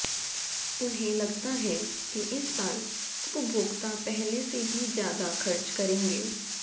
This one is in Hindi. उन्हें लगता है कि इस साल उपभोक्ता पहले से भी ज्यादा खर्च करेंगे